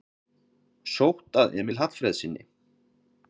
Sótt að Emil Hallfreðssyni